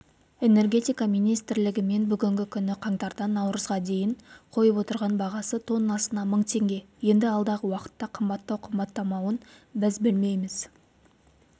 энергетика министрлігімен бүгінгі күні қаңтардан наурызға дейін қойып отырған бағасы тоннасына мың теңге енді алдағы уақытта қымбаттау-қымбаттамауын біз білмейміз